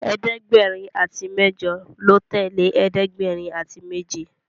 ẹ̀ẹ́dẹ̀gbẹ̀rin àti mẹjọ lọ tẹle ẹ̀ẹ́dẹ̀gbẹ̀rin àti méje